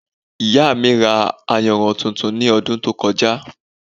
Ìyá mi ra ayanran tuntun ní ọdún tó kọjá